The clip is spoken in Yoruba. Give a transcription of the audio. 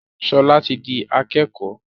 Shola tí dì akékò.